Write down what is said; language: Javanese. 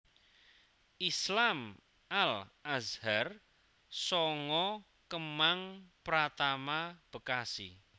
Islam Al Azhar sanga Kemang Pratama Bekasi